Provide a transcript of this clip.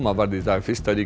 varð í dag fyrsta ríki